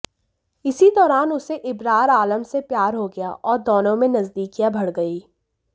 इसी दौरान उसे इबरार आलम से प्यार हो गया और दोनों में नजदीकियां बढ गईं